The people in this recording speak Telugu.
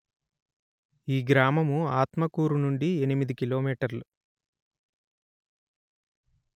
ఈ గ్రామము ఆత్మకూరు నుండి ఎనిమిది కిలో మీటర్లు